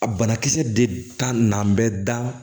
A banakisɛ de ka na bɛ da